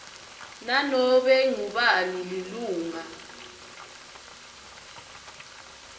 nanobe ngubani lilunga